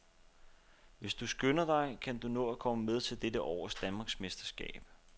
Hvis du skynder dig, kan du nå at komme med til dette års danmarksmesterskab.